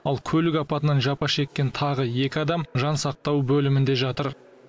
ал көлік апатынан жапа шеккен тағы екі адам жансақтау бөлімінде жатыр